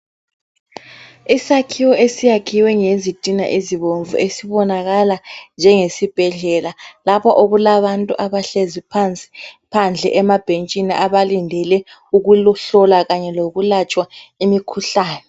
Isakhiwo esiyakhiwe ngezitina ezibomvu esibonakala njengesibhedlela lapho okulabantu abahlezi phansi, phandle emabhentshini abalindele ukuhlolwa kanye lokulatshwa imikhuhlane.